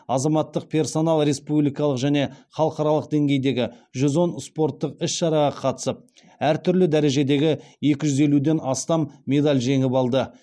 азаматтық персонал республикалық және халықаралық деңгейдегі жүз он спорттық іс шараға қатысып әр түрлі дәрежедегі екі жүз елуден астам медаль жеңіп алды